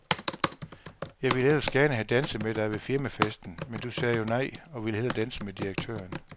Jeg ville ellers gerne have danset med dig ved firmafesten, men du sagde jo nej og ville hellere danse med direktøren.